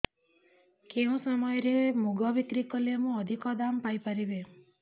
କେଉଁ ସମୟରେ ମୁଗ ବିକ୍ରି କଲେ ମୁଁ ଅଧିକ ଦାମ୍ ପାଇ ପାରିବି